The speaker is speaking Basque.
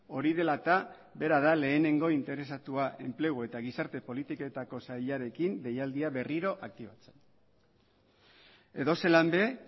hori dela eta bera da lehenengo interesatua enplegu eta gizarte politiketako sailarekin deialdia berriro aktibatzen edozelan ere